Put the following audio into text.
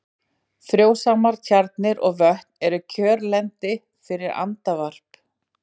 Frjósamar tjarnir og vötn eru kjörlendi fyrir andavarp.